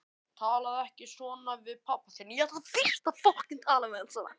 Talaðu ekki svona um hann pabba þinn.